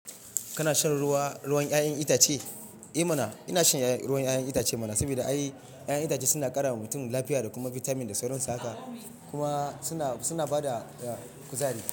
Kana shan ruwa, ruwan 'ya'yan itace? Eh mana! Ina shan ruwan 'ya'yan itace mana, saboda 'ya'yan itace suna ƙara wa mutum lafiya da kuma bitamin da sauransu haka kuma suna, suna bada kuzari.